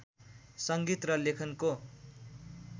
सङ्गीत र लेखनको